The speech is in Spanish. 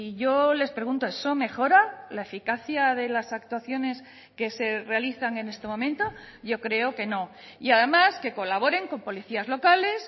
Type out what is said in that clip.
yo les pregunto eso mejora la eficacia de las actuaciones que se realizan en este momento yo creo que no y además que colaboren con policías locales